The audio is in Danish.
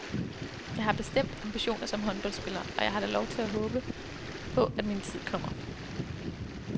Jeg har bestemt ambitioner som håndboldspiller, og jeg har da lov til at håbe på, at min tid kommer.